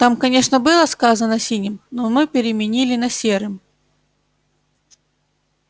там конечно было сказано синим но мы переменили на серым